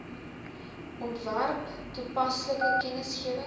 ontwerp toepaslike kennisgewings